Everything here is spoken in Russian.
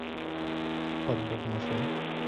подбор машин